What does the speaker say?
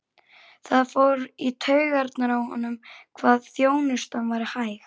Það fór í taugarnar á honum hvað þjónustan var hæg.